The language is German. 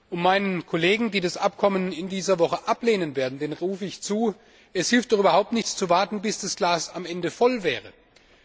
Und meinen Kollegen, die das Abkommen in dieser Woche ablehnen werden, rufe ich zu Es hilft doch überhaupt nichts, zu warten, bis das Glas am Ende voll ist!